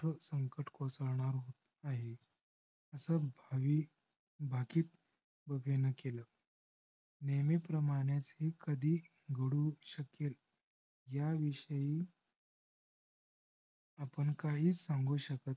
असं भय भाकीत व भिन्न केल. नेहमी प्रमानेच हे कधीही घडू शकेल ह्या विषयी आपण काही सांगू शकत नाही.